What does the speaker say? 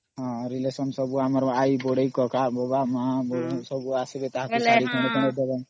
relation ସବୁ ଆସିବେ ବୋଇଲେ ଆଇ ବଡ଼ୁ କକା ସମସ୍ତେ ଦେବାକେ ପଡିବ ନ